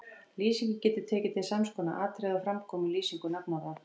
Lýsingin getur tekið til sams konar atriða og fram koma í lýsingu nafnorða